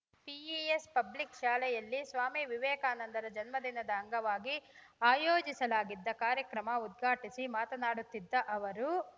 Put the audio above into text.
PES public ಶಾಲೆಯಲ್ಲಿ ಸ್ವಾಮಿ ವಿವೇಕಾನಂದರ ಜನ್ಮ ದಿನದ ಅಂಗವಾಗಿ ಆಯೋಜಿಸಲಾಗಿದ್ದ ಕಾರ್ಯಕ್ರಮ ಉದ್ಘಾಟಿಸಿ ಮಾತನಾಡುತ್ತಿದ್ದ ಅವರು